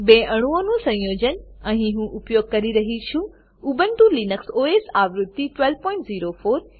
બે અણુઓનું સંયોજન અહીં હું ઉપયોગ કરું છું ઉબુન્ટુ લીનક્સ ઓએસ આવૃત્તિ 1204